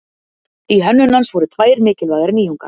Í hönnun hans voru tvær mikilvægar nýjungar.